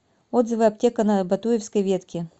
отзывы аптека на батуевской ветке